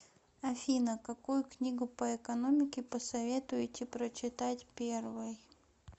афина какую книгу по экономике посоветуете прочитать первой